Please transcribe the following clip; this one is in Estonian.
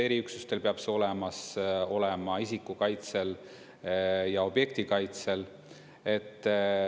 Eriüksustel peab see olemas olema, isikukaitsel ja objektikaitsel.